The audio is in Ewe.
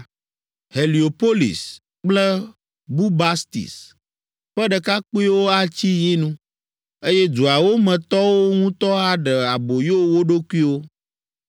Heliopolis kple Bubastis ƒe ɖekakpuiwo atsi yi nu, eye duawo me tɔwo ŋutɔ aɖe aboyo wo ɖokuiwo.